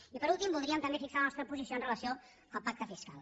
i per últim voldríem també fixar la nostra posició amb relació al pacte fiscal